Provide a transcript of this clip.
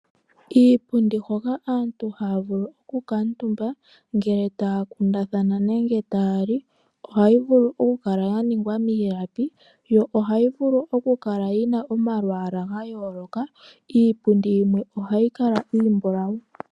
Iipundi hoka aantu haya vulu oku kuutumba ngele taya kundathana nenge taya li. Ohayi vulu oku kala ya ningwa miilapi yo ohayi vulu oku kala yina omalwaala ga yooloka. Iipundi yimwe ohayi kala iimbulawu.